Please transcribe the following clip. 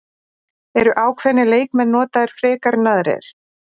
Eru ákveðnir leikmenn notaðir frekar en aðrir?